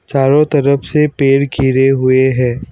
चारों तरफ से पेड़ घिरे हुए है।